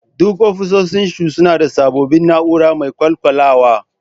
Duka ofisoshin suna da sabbin na'ura mai kwakwalwa